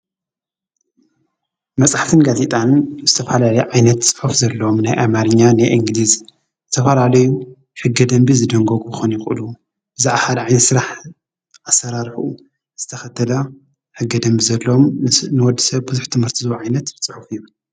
መፅሓፍትን ጋዜጣን ዝተፈላለዩ ዓይነት ፅሑፍ ዘለዎም ናይ አማርኛ ናይ እንግሊዝ ዝተፈላለዩ ሕገ ደንቢ ዝድንግጉ ክኾኑ ይኽእሉ፣ ብዛዕባ ሓደ ዓይነት ስራሕ ኣሰራርሑኡ ዝተከተላ ሕገ ደንቢ ዘለዎም ንወዲ ሰብ ብዙሕ ትምህርቲ ዝህቦ ዓይት ፅሑፍ እዩ።